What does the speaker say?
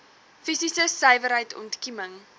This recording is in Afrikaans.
fisiese suiwerheid ontkieming